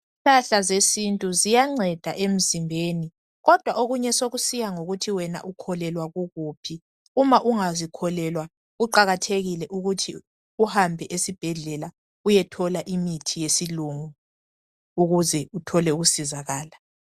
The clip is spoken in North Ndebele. Impahla zesintu ziyanceda emzimbeni, kodwa okunye sekusiya ngokuthi wena ukholelwa kukuphi. Uma ungazikholelwa kuqakathekile ukuthi uhambe esibhedlela uyethola imithi yesilungu ukuze uthole ukusizakala.